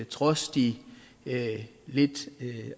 trods de lidt